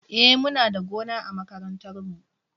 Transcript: E, muna da gona a makarantar mu.